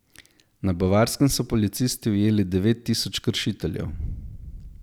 Na Bavarskem so policisti ujeli devet tisoč kršiteljev.